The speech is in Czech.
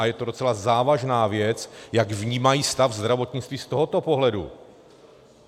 A je to docela závažná věc, jak vnímají stav zdravotnictví z tohoto pohledu.